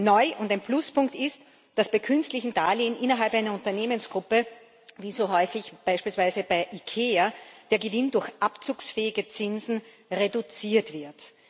Neu und ein Pluspunkt ist, dass bei künstlichen Darlehen innerhalb einer Unternehmensgruppe wie so häufig beispielsweise bei Ikea der Gewinn durch abzugsfähige Zinsen reduziert wird.